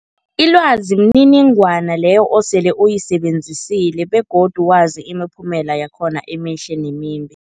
Ilwazi mniningwana leyo osele uyisebenzisile begodu wazi imiphumela yakhona emihle nemimbi.